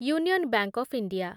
union bank of India